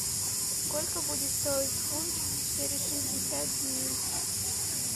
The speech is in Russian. сколько будет стоить фунт через шестьдесят дней